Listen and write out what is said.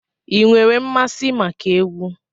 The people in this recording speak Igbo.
Ị nwere mmasị maka egwu?